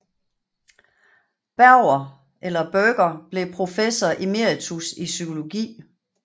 Berger blev professor emeritus i psykologi